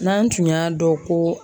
N'an tun y'a dɔn ko